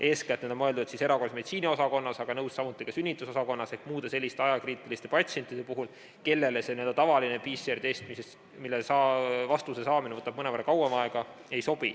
Eeskätt on need mõeldud erakorralise meditsiini osakonnale, aga olen nõus, ka sünnitusosakonnale ehk muudele ajakriitilistele patsientidele, kellele ei sobi n-ö tavaline PCR-test, mille vastuse saamine võtab mõnevõrra kauem aega.